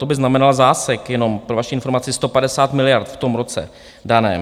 To by znamenalo zásek, jenom pro vaši informaci, 150 miliard v tom roce daném.